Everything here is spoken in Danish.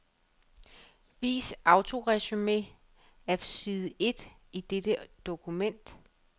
Vis autoresumé af side et i dette dokument.